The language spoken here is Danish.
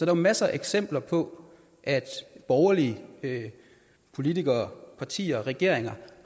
jo masser af eksempler på at borgerlige politikere partier regeringer